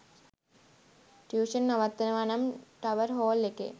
tuition නවත්වනවා නම් Tower Hall එකේ